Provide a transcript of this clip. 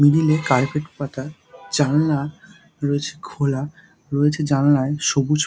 Middle - এ carpet পাতা জানলা রয়েছে খোলা রয়েছে জানলায় সবুজ ।